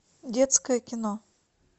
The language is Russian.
детское кино